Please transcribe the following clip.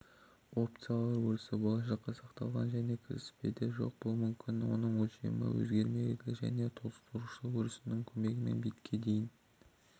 опциялар өрісі болашаққа сақталған және кіріспеде жоқ болуы мүмкін оның өлшемі өзгермелі және толтырушы өрісінің көмегімен битке дейін